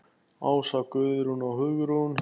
Ása, Guðrún og Hugrún.